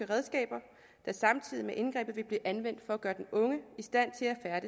redskaber der samtidig med indgrebet vil blive anvendt for at gøre den unge i stand til at